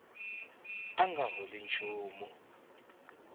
a a nga holi nchumu